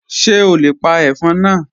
Ṣe o le pa ẹfọn naa?